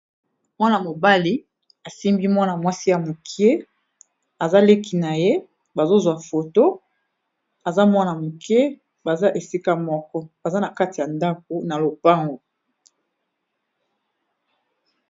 Mwana mobali asimbi mwana mwasi ya moke aza leki na ye, bazo zwa foto aza mwana moke. Baza esika moko baza na kati ya ndako, na lopango.